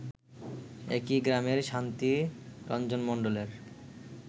একই গ্রামের শান্তিরঞ্জনমন্ডলের